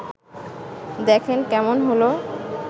দেখেন, কেমন হলো